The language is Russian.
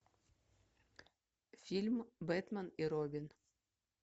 фильм бэтмен и робин